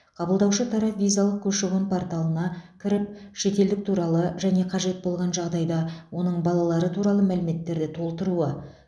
қабылдаушы тарап визалық көші қон порталына кіріп шетелдік туралы және қажет болған жағдайда оның балалары туралы мәліметтерді толтыруы